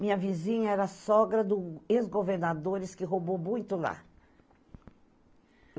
Minha vizinha era sogra do ex-governadores, que roubou muito lá.